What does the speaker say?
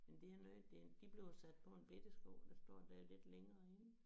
Jamen det er noget det de blev sat på en bette sko der står der lidt længere nede